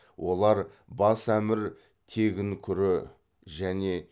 олар бас әмір тегін күрі және